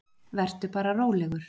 Vertu bara rólegur.